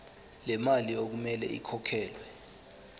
lemali okumele ikhokhelwe